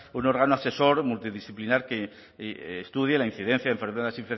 un órgano asesor disciplinar que estudie la incidencia de enfermedades